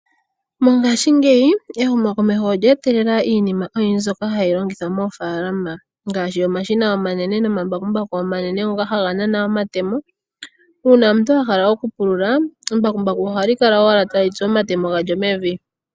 Mongashingeyi ehumo komeho olya etelela iinima oyindji mbyoka hayi longithwa moofaalama ngaashi omashina omanene nomambakumbaku omanene ngoka haga nana omatemo, uuna omuntu ahala okupulula embakumbaku ohali kala owala tali tsu omatemo galyo mevi.